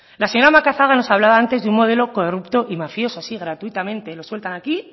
la señora macazaga nos hablaba antes de un modelo corrupto y mafioso así gratuitamente lo sueltan aquí